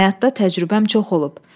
Həyatda təcrübəm çox olub.